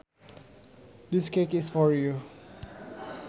This cake is for you